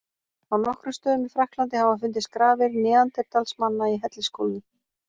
Á nokkrum stöðum í Frakklandi hafa fundist grafir neanderdalsmanna í hellisgólfum.